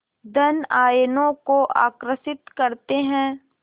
धन आयनों को आकर्षित करते हैं